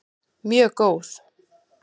Mjög góð